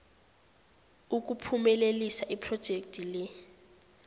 ukuphumelelisa iphrojekhthi le